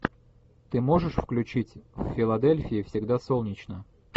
ты можешь включить в филадельфии всегда солнечно